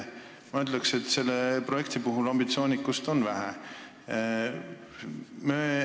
Ma ütleks, et selle projekti puhul on ambitsioonikust vähe.